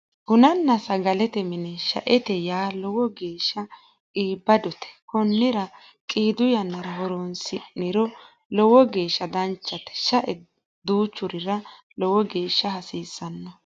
Bununna sagalete mine shaete yaa lowo geeshsha iibbadote konnira qiidu yannara horoonsi'niro lowo geeshsha danchate shae duuchurira lowo geeshsha hasiissano